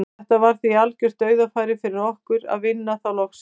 Þetta var því algjört dauðafæri fyrir okkur að vinna þá loksins.